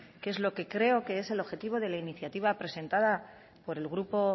que es lo que creo que es el objetivo de la iniciativa presentada por el grupo